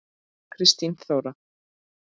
Kristín Þóra.